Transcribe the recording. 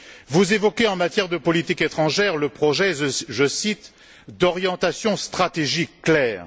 Vous évoquez, en matière de politique étrangère, le projet je cite d'orientations stratégiques claires.